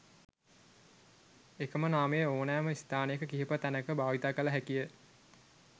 එකම නාමය ඕනැම ස්ථානයක කිහිප තැනක භාවිත කළ හැකිය